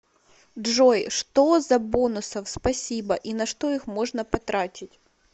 джой что за бонусов спасибо и на что их можно потратить